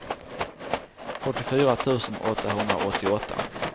fyrtiofyra tusen åttahundraåttioåtta